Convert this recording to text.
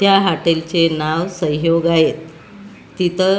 त्या हॉटेलचे नाव सहयोग आहे तिथं --